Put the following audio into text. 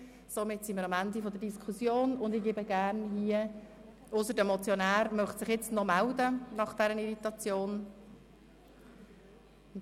Somit sind wir am Ende der Diskussion, ausser der Motionär möchte sich nach dieser Irritation noch einmal melden.